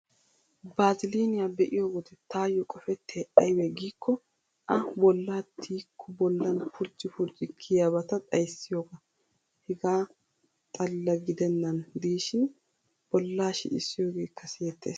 Vaaziliiniyaa be'iyo wode taayo qoppettiyay aybee giikko a bollaa tiyikko bollan purcci purcci kiyiyaabata xayssiyoogaa. Hegaa xalla gidennan diishin bollaa shiccissiyoogeekka siyettees.